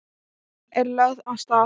Kúlan er lögð af stað.